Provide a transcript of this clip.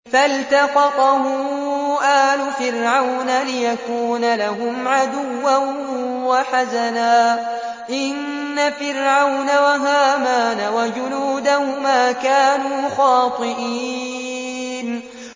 فَالْتَقَطَهُ آلُ فِرْعَوْنَ لِيَكُونَ لَهُمْ عَدُوًّا وَحَزَنًا ۗ إِنَّ فِرْعَوْنَ وَهَامَانَ وَجُنُودَهُمَا كَانُوا خَاطِئِينَ